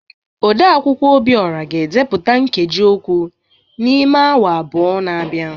Odeakwụkwọ Obiora ga-edepụta nkeji okwu n’ime awa abụọ na-abịa